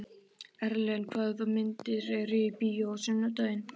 Erlen, hvaða myndir eru í bíó á sunnudaginn?